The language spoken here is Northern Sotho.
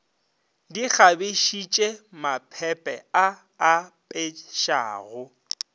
di kgabišitše maphephe a apešago